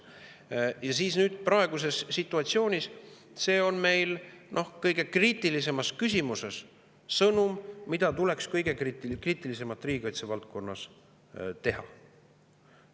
Praeguses situatsioonis on see kõige kriitilisemas küsimuses meie sõnum, mida oleks vaja riigikaitse valdkonnas teha.